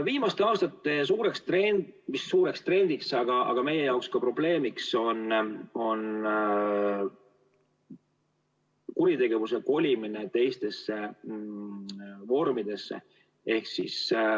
Viimaste aastate suur trend – või mis suur trend, meie jaoks ka probleem – on kuritegevuse kolimine teistesse vormidesse.